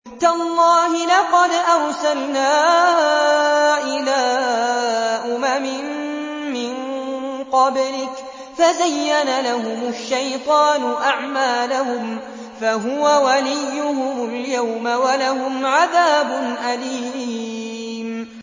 تَاللَّهِ لَقَدْ أَرْسَلْنَا إِلَىٰ أُمَمٍ مِّن قَبْلِكَ فَزَيَّنَ لَهُمُ الشَّيْطَانُ أَعْمَالَهُمْ فَهُوَ وَلِيُّهُمُ الْيَوْمَ وَلَهُمْ عَذَابٌ أَلِيمٌ